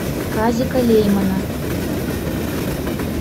казика леймана